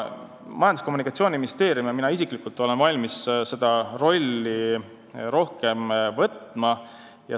Majandus- ja Kommunikatsiooniministeerium ja mina isiklikult olen valmis rohkem seda rolli võtma.